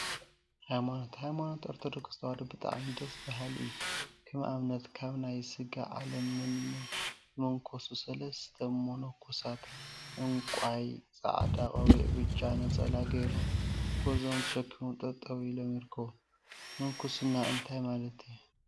ሃይማኖት ሃይማኖት ኦርቶዶክስ ተዋህዶ ብጣዕሚ ደስ በሃሊ እዩ፡፡ ከም አብነት ካብ ናይ ስጋ ዓለም መኒኖም ዝሞንኮሱ ሰለስተ ሞኖኮሳት ዕንቋይ፣ ፃዕዳ ቆቢዕን ብጫ ነፀላን ገይሮም ጉዕዞኦም ተሸኪሞም ጠጠወ ኢሎም ይርከቡ፡፡ ምንኩስና እንታይ ማለት እዩ?